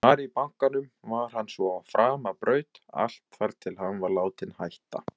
Þar í bankanum var hann svo á framabraut allt þar til hann var látinn hætta.